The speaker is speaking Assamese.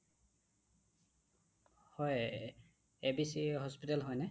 হয় , abc hospital হয়নে?